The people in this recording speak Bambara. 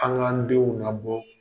An' k'an denw nabɔ